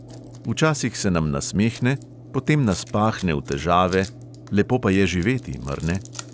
Včasih se nam nasmehne, potem nas pahne v težave, lepo pa je živeti, mar ne?